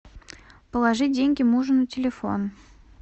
положить деньги мужу на телефон